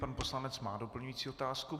Pan poslanec má doplňující otázku.